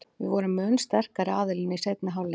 Við vorum mun sterkari aðilinn í seinni hálfleik.